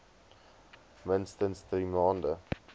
minstens drie maande